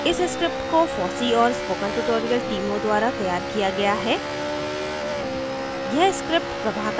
इस script को fossee और spoken tutorial टीमों द्वारा तैयार किया गया है